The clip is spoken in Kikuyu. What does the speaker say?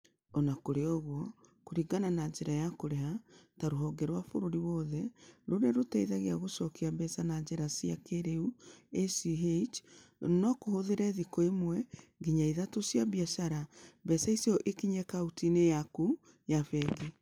O na kũrĩ ũguo, kũringana na njĩra ya kũrĩha ta rũhonge rwa bũrũri wothe rũrĩa rũteithagia gũcokia mbeca na njĩra cia kĩĩrĩu (ACH), no kũhũthĩre thikũ ĩmwe nginya ithatũ cia biacara mbeca icio ikinye akaunti-inĩ yaku ya bengi.